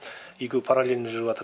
екеуі параллельный жүріватады